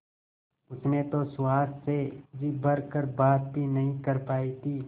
उसने तो सुहास से जी भर कर बात भी नहीं कर पाई थी